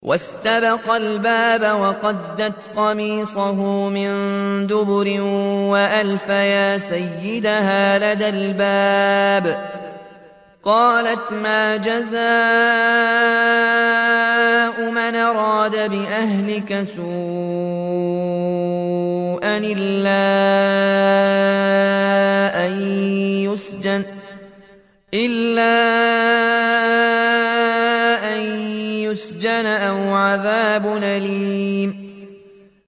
وَاسْتَبَقَا الْبَابَ وَقَدَّتْ قَمِيصَهُ مِن دُبُرٍ وَأَلْفَيَا سَيِّدَهَا لَدَى الْبَابِ ۚ قَالَتْ مَا جَزَاءُ مَنْ أَرَادَ بِأَهْلِكَ سُوءًا إِلَّا أَن يُسْجَنَ أَوْ عَذَابٌ أَلِيمٌ